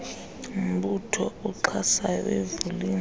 mbutho uxhasayo uyivulile